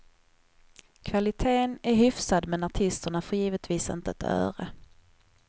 Kvaliteten är hyfsad men artisterna får givetvis inte ett öre.